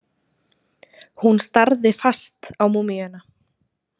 Hún starði fast á múmíuna.